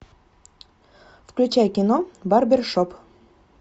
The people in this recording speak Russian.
включай кино барбершоп